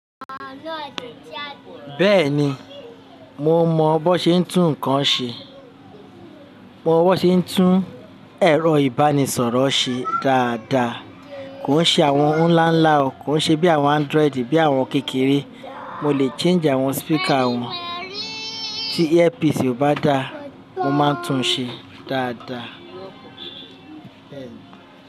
Bẹ́ẹ̀ni, mo mọ bí wón ṣe n tún nǹkan ṣe. Mo mọ bó ṣe ń tún ẹ̀rọ ìbánisọ̀rọ̀ ṣe dáadáa. Kò ń ṣe àwọn ńlá ńlá o. Kò ṣe bí àwọn Android, bí àwọn kékeré. Mo lè change àwọn speaker wọn. Tí earpiece kò bá da, mo máa ń tún un ṣe dáadáa.